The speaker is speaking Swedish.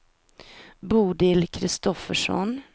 Bodil Kristoffersson